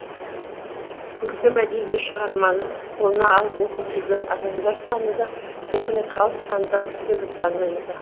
көркем әдеби шығарманы қолына алып оқып жүрген адамдар саны да яғни халық саны да бірте бірте азаюда